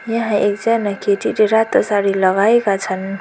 यहाँ एकजना केटीले रातो साडी लगाएका छन्।